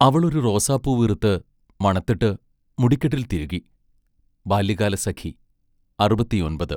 അവൾ ഒരു റോസാപ്പൂവ് ഇറുത്ത് മണത്തിട്ട് മുടിക്കെട്ടിൽ തിരുകി. ബാല്യകാലസഖി അറുപത്തിയൊൻപത്